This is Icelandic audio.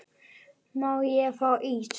Má ég fá ís?